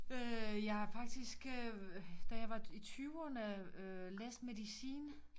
Øh jeg har faktisk øh da jeg var i tyverne læst medicin